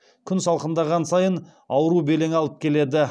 күн салқындаған сайын ауру белең алып келеді